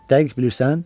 Dəqiq bilirsən?